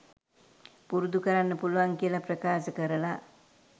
පුරුදු කරන්න පුළුවන් කියලා ප්‍රකාශ කරලා